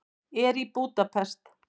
Er í Búdapest.